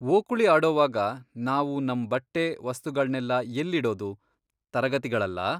ಓಕುಳಿ ಆಡೋವಾಗ ನಾವು ನಮ್ ಬಟ್ಟೆ, ವಸ್ತುಗಳ್ನೆಲ್ಲ ಎಲ್ಲಿಡೋದು, ತರಗತಿಗಳಲ್ಲಾ?